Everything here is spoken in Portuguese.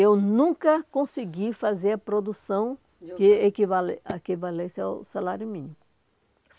Eu nunca consegui fazer a produção, justa, que equivalesse ao salário mínimo.